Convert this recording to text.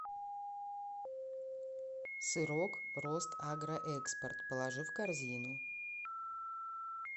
сырок ростагроэкспорт положи в корзину